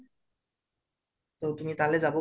ত তুমি তালে যাব পাৰিবা